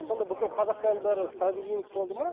сонда бүкіл қазақтардың бәрі сангвиник болды ма